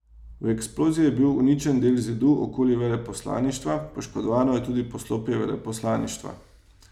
V eksploziji je bil uničen del zidu okoli veleposlaništva, poškodovano je tudi poslopje veleposlaništva.